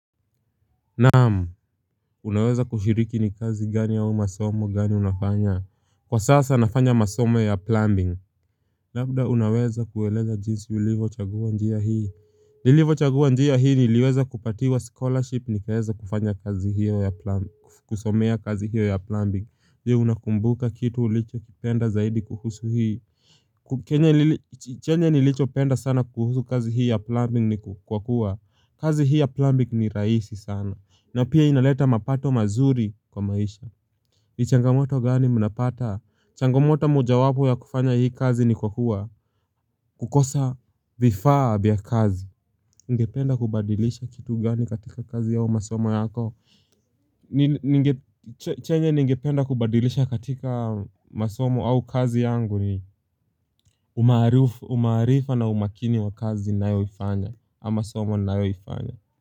Naamu, unaweza kushiriki ni kazi gani au ni masomo gani unafanya? Kwa sasa nafanya masomo ya plumbing Labda unaweza kueleza jinsi ulivyo chagua njia hii? Nilivyo chagua njia hii niliweza kupatiwa scholarship nikaweza kufanya kazi hiyo ya plumbing kusomea kazi hiyo ya plumbing Ndiyo unakumbuka kitu ulicho kipenda zaidi kuhusu hii? Chenye nilicho penda sana kuhusu kazi hii ya plumbing ni kwa kuwa kazi hii ya plumbing ni rahisi sana na pia inaleta mapato mazuri kwa maisha ni changamoto gani mnapata changamoto mojawapo ya kufanya hii kazi ni kwa kuwa kukosa vifaa vyaa kazi. Ungependa kubadilisha kitu gani katika kazi au masomo yako? Ningependa kubadilisha katika masomo au kazi yangu ni umaarifa na umakini wa kazi ninayoifanya ama somo na ninayo ifanya.